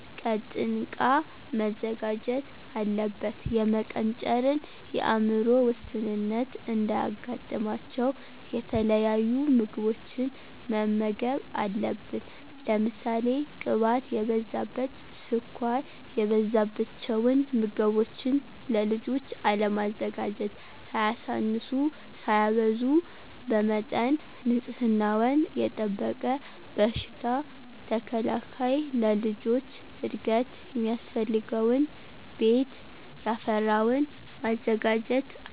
ቀጥንቃ መዘጋጀት አለበት። የመቀንጨርን የአምሮ ውስንነት እንዳያጋጥማቸው የተለያዩ ምግቦችን መመገብ አለብን። ለምሳሌ ቅባት የበዛበት፣ ስኳር የበዛበቸውን ምገቦችን ለልጆች አለማዘጋጀት። ሳያሳንሱ ሳያበዙ በመጠን ንፅህናወን የጠበቀ በሽታ ተከላካይ ለልጆች እድገት ሚያስፈልገውን ቤት ያፈራወን ማዘጋጀት አለብን።